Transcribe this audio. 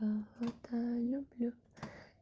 ах это люблю